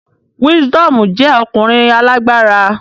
Wisdomu jẹ ọkunrin alagbara